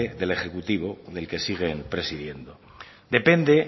del ejecutivo del que siguen presidiendo depende